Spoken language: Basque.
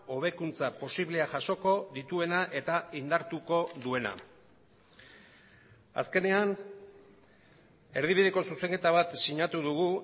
hobekuntza posiblea jasoko dituena eta indartuko duena azkenean erdibideko zuzenketa bat sinatu dugu